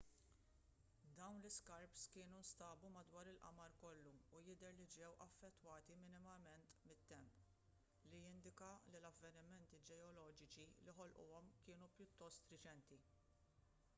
dawn l-iskarps kienu nstabu madwar il-qamar kollu u jidher li ġew affettwati minimament mit-temp li jindika li l-avvenimenti ġeoloġiċi li ħolquhom kienu pjuttost reċenti